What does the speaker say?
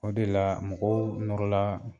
O de la mɔgɔw nɔrɔla